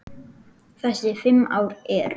Þessi fimm ár eru